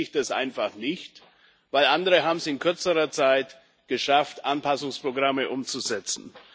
dann verstehe ich das einfach nicht, denn andere haben es in kürzerer Zeit geschafft, Anpassungsprogramme umzusetzen.